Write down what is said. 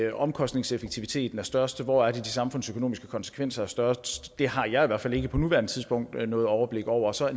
at omkostningseffektiviteten er størst hvor er det de samfundsøkonomiske konsekvenser er størst det har jeg i hvert fald ikke på nuværende tidspunkt noget overblik over så er